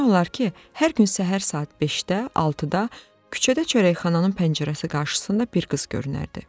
Demək olar ki, hər gün səhər saat 5-də, 6-da küçədə çörəkxananın pəncərəsi qarşısında bir qız görünərdi.